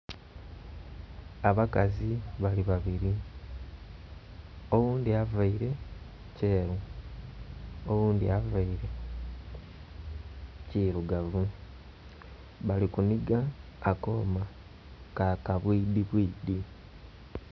abakazi bali babiri oghundhi avaire kyeru oghundhi avaire kirugavu bali ku nhiga akooma ka kabwidhi bwidhi.